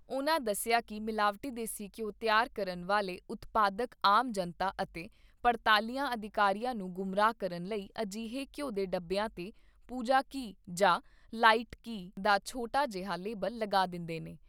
ਉਨ੍ਹਾਂ ਦੱਸਿਆ ਕਿ ਮਿਲਾਵਟੀ ਦੇਸੀ ਘਿਉ ਤਿਆਰ ਕਰਨ ਵਾਲੇ ਉਤਪਾਦਕ ਆਮ ਜਨਤਾ ਅਤੇ ਪੜਤਾਲੀਆ ਅਧਿਕਾਰੀਆਂ ਨੂੰ ਗੁੰਮਰਾਹ ਕਰਨ ਲਈ ਅਜਿਹੇ ਘਿਉ ਦੇ ਡੱਬਿਆਂ ਤੇ ' ਪੂਜਾ ਘੀ ' ਜਾਂ ' ਲਾਈਟ ਘੀ ' ਦਾ ਛੋਟਾ ਜਿਹਾ ਲੇਬਲ ਲਗਾ ਦਿੰਦੇ ਨੇ।